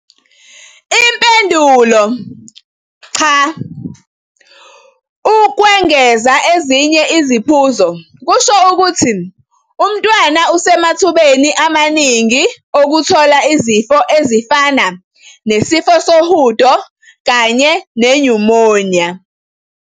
Impendulo- Cha, ukwengeza ezinye iziphuzo kusho ukuthi umntwana usemathubeni amaningi okuthola izifo ezifana nesifo sohudo kanye nenyumoniya.